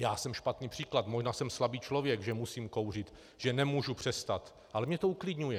Já jsem špatný příklad, možná jsem slabý člověk, že musím kouřit, že nemůžu přestat, ale mě to uklidňuje.